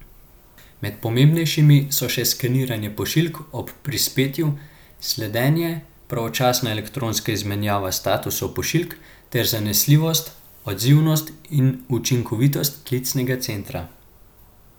Med pomembnejšimi so še skeniranje pošiljk ob prispetju, sledenje, pravočasna elektronska izmenjava statusov pošiljk ter zanesljivost, odzivnost in učinkovitost klicnega centra.